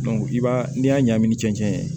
i b'a n'i y'a ɲagami ni cɛncɛn ye